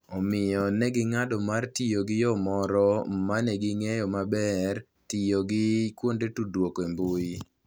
Omiyo, ne ging'ado mar tiyo gi yo moro ma ne ging'eyo maber - tiyo gi kuonde tudruok e mbui.